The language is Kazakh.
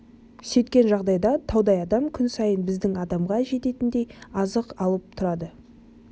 сөйткен жағдайда таудай адам күн сайын біздің адамға жететіндей азық алып тұрады